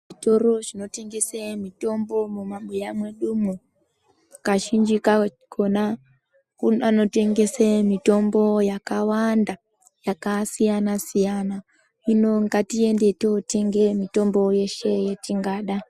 Zvitoro zvino tengese mitombo muma buya mwedumwo kazhinji kakona kune anotengese mitombo yakawanda yaka siyana siyana hino ngatiende totenge mitombo yeshe yetingada.